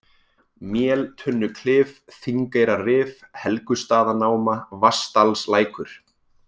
Méltunnuklif, Þingeyrarif, Helgustaðanáma, Vatnsdalslækur